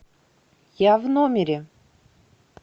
я в номере